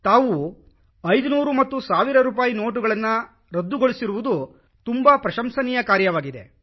ತಾವು 500 ಮತ್ತು 1 ಸಾವಿರ ರೂಪಾಯಿ ನೋಟುಗಳನ್ನು ರದ್ದುಗೊಳಿಸಿರುವುದು ತುಂಬಾ ಪ್ರಶಂಸನೀಯ ಕಾರ್ಯವಾಗಿದೆ